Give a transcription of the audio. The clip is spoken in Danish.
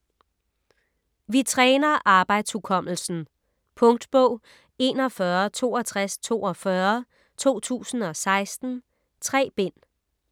Vi træner arbejdshukommelsen Punktbog 416242 2016. 3 bind.